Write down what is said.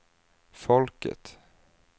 folket